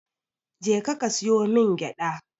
Je ka ka siyo min gyada.